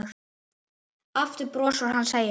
Aftur brosir hann og segir